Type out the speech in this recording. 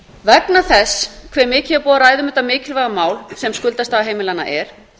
vegna þess hve mikið er búið að ræða um þetta mikilvæga mál sem skuldastaða heimilanna er